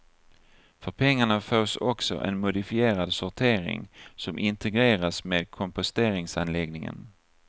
För pengarna fås också en modifierad sortering som integreras med komposteringsanläggningen.